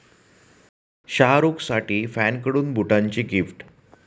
शाहरूखसाठी फॅनकडून बुटांची गिफ्ट